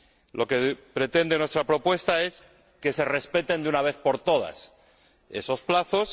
Lo que pretende nuestra propuesta es que se respeten de una vez por todas esos plazos.